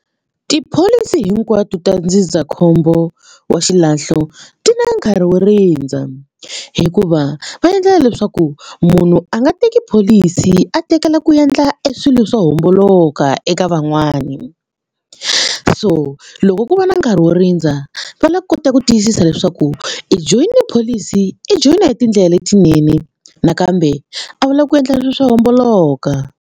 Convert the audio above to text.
Tipholisi hinkwato ta ndzindzakhombo wa xilahlo ti na nkarhi wo rindza hikuva va endlela leswaku munhu a nga teki pholisi a tekela ku endla e swilo swo homboloka eka van'wani so loko ku va na nkarhi wo rindza va lava kotaka ku tiyisisa leswaku i joyine pholisi i joyina hi tindlela letinene nakambe a wu lavi ku endla swilo swo homboloka.